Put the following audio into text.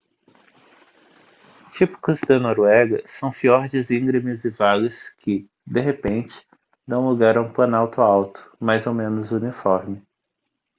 típicos da noruega são fiordes íngremes e vales que de repente dão lugar a um planalto alto mais ou menos uniforme